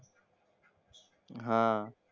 हां.